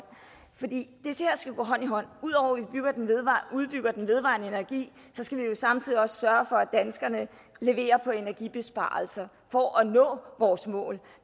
for det skal gå hånd i hånd ud over at vi udbygger den vedvarende energi skal vi jo samtidig også sørge for at danskerne leverer på energibesparelser for at vi når vores mål